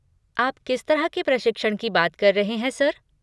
आप किस तरह के प्रशिक्षण की बात कर रहे हैं सर?